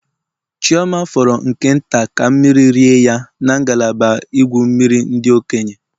Chioma fọrọ nke nta ka mmiri rie ya na ngalaba igwu mmiri ndị okenye.